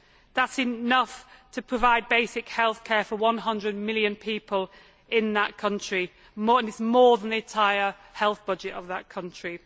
That is enough to provide basic heath care for 100 million people in that country and is more than the entire health budget of that country.